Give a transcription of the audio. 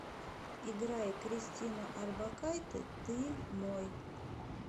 играй кристину орбакайте ты мой